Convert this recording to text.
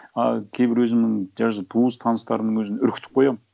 ы кейбір өзімнің даже туыс таныстарымның өзін үркітіп қоямын